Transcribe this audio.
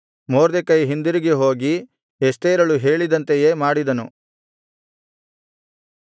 ಮೊರ್ದೆಕೈ ಹಿಂದಿರುಗಿ ಹೋಗಿ ಎಸ್ತೇರಳು ಹೇಳಿದಂತೆಯೇ ಮಾಡಿದನು